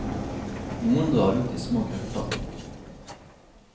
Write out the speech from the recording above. Noen drar ut i små grupper.